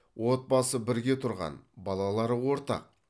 отбасы бірге тұрған балалары ортақ